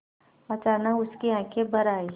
अचानक उसकी आँखें भर आईं